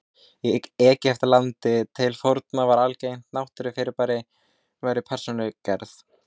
Í Egyptalandi til forna var algengt að náttúrufyrirbæri væru persónugerð.